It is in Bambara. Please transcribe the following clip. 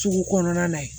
Sugu kɔnɔna na ye